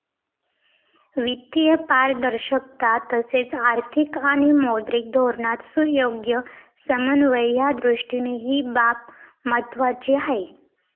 वित्तीय पारदर्शकता तसेच आर्थिक आणि मौद्रिक धोरणात सुयोग्य समन्वय यादृष्टीने ही बाब महत्त्वाची आहे.